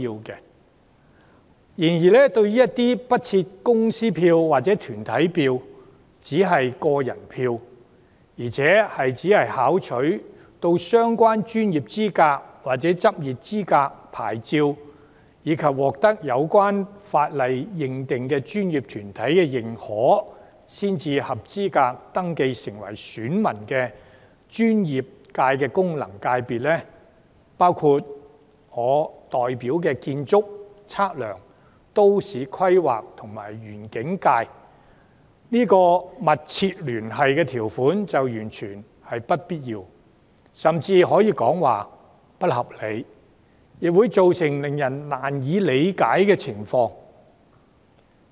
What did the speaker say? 然而，對於其他不設公司票或團體票而只設個人票，並只准許具備相關專業資格或執業牌照及獲有關法定專業團體認可才符合選民資格的專業界功能界別，包括我代表的建築、測量、都市規劃及園境功能界別，上述密切聯繫條款完全沒有必要，甚至可說是不合理，亦會造成令人難以理解的情況。